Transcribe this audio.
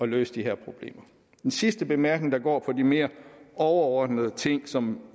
løse de her problemer den sidste bemærkning går på de mere overordnede ting som